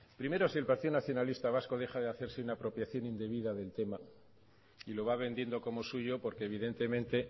primero si el partido nacionalista vasco deja de hacerse una apropiación indebida del tema y lo va vendiendo como suyo porque evidentemente